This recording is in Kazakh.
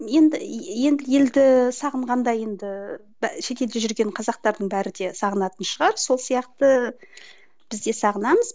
енді енді елді сағынғанда енді шетелде жүрген қазақтардың бәрі де сағынатын шығар сол сияқты біз де сағынамыз